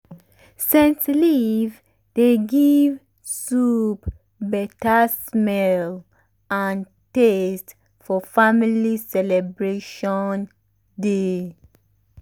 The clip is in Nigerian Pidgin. scent leaf dey give soup beta smell and taste for family celebration day.